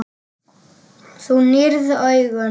Þú nýrð augun.